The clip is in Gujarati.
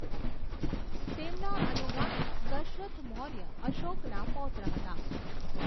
તેમના અનુગામી દશરથ મૌર્ય અશોકના પૌત્ર હતા.